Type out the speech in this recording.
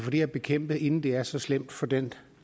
her bekæmpet inden det er så slemt for den